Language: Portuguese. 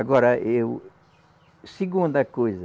Agora, eu. Segunda coisa.